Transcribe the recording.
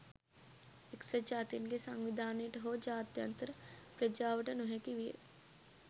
එක්සත් ජාතීන්ගේ සංවිධානයට හෝ ජාත්‍යන්තර ප්‍රජාවට නොහැකි විය